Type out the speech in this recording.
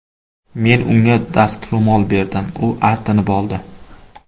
Men unga dastro‘mol berdim, u artinib oldi.